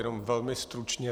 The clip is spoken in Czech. Jenom velmi stručně.